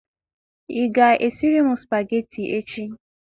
Ị ga-esịrị m spagetị echi